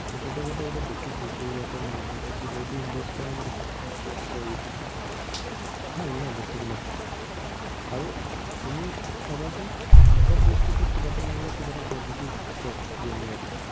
মাক বাপেকেহঁতে এতিয়া দেখিছে যে ইয়াতে নাই। ইয়াতে এইটো invest কৰা মানে কি, কিবা এটা ইয়াতো আছে, return এটা পাম। ভাল ন বস্তুবিলাক। আৰু তুমি চাবাচোন, সৱ বস্তুতে কিবা এটা নহলে কিবা এটা positive আছে gaming টো।